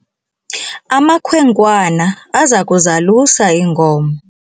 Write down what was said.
amakhwenkwana aza kuzalusa iinkomo